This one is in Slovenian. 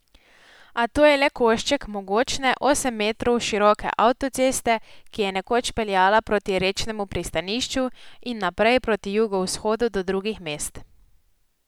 A to je le košček mogočne osem metrov široke avtoceste, ki je nekoč peljala proti rečnemu pristanišču in naprej proti jugovzhodu do drugih mest.